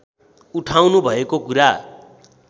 उठाउनु भएको कुरा